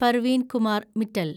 Parveen Kumar Mittal